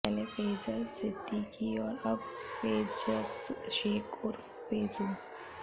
पहले फैजल सिद्दीकी और अब फैजस शेख उर्फ फैजू